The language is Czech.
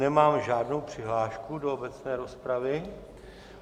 Nemám žádnou přihlášku do obecné rozpravy.